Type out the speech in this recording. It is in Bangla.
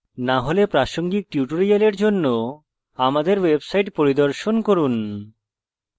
না হলে প্রাসঙ্গিক tutorial জন্য আমাদের website পরিদর্শন করুন